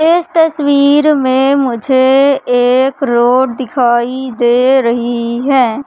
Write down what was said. इस तस्वीर मे मुझे एक रोड दिखाई दे रही है।